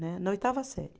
Né, na oitava série.